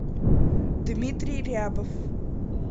дмитрий рябов